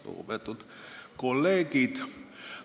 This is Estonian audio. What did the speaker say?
Lugupeetud kolleegid!